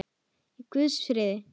Í Guðs friði.